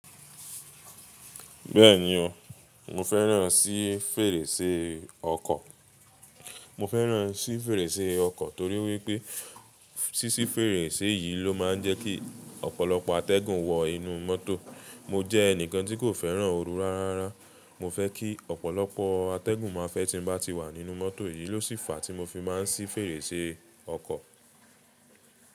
Bẹ́ẹ̀ni o, mo fẹ́ràn sí fèrèsé ọkọ̀. Mo fẹ́ràn sí fèrèsé ọkọ̀ torí wípé, sísí fèrèsé yìí ló máa ń jẹ́ kí ọ̀pọ̀lọpọ̀ atẹ́gùn wọ inú mọ́tò. Mo jẹ́ ẹnìkan tí kò fẹ́ràn oru rárá. Mo fẹ́ kí ọ̀pọ̀lọpọ̀ atẹ́gùn máa fẹ́ tí n bá ti wà nínú mọ́tò. Èyí ló sì fàá tí mo fi máa ń sí fèrèsé ọkọ̀.